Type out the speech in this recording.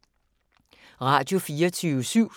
Radio24syv